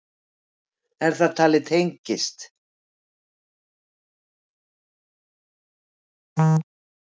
Er talið að þetta tengist?